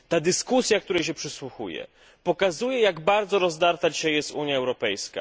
Dyskusja, której się przysłuchuję, pokazuje, jak bardzo rozdarta jest dzisiaj Unia Europejska.